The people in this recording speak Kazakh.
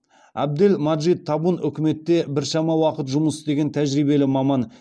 әбдел маджид табун үкіметте біршама уақыт жұмыс істеген тәжірибелі маман